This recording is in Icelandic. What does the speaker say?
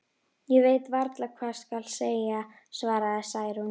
Ég veit varla hvað skal segja, svaraði Særún.